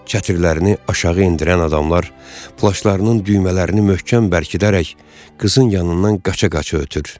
Çətirlərini aşağı endirən adamlar plaşlarının düymələrini möhkəm bərkidərək qızın yanından qaça-qaça ötür.